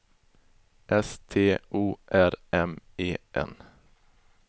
S T O R M E N